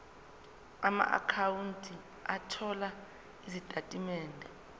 amaakhawunti othola izitatimende